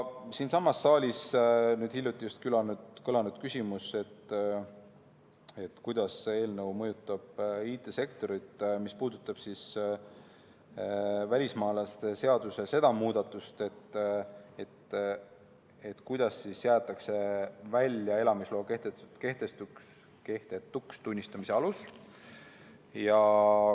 Siinsamas saalis nüüd just hiljuti kõlas küsimus, kuidas see eelnõu mõjutab IT-sektorit, mis puudutab välismaalaste seaduse seda muudatust, kuidas jäetakse välja elamisloa kehtetuks tunnistamise alus.